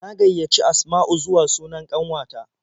Na gaiyaci Asma'u zuwa sunan ƙanwata.